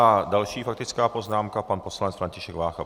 A další faktická poznámka, pan poslanec František Vácha.